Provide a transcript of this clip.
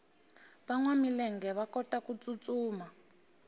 vanwa milenge va kotaku tsutsuma